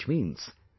Which means,